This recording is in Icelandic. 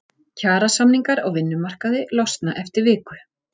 Kjarasamningar á vinnumarkaði losna eftir viku